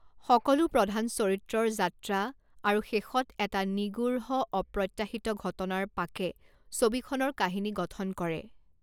সকলো প্ৰধান চৰিত্ৰৰ যাত্ৰা আৰু শেষত এটা নিগূঢ় অপ্ৰত্যাশিত ঘটনাৰ পাকে ছবিখনৰ কাহিনী গঠন কৰে।